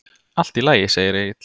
Allt í lagi, segir Egill.